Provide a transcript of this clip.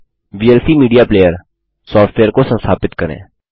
अब VLC media player software को संस्थापित करें